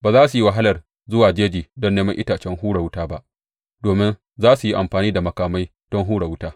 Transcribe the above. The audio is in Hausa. Ba za su yi wahalar zuwa jeji don neman itacen hura wuta ba, domin za su yi amfani da makamai don hura wuta.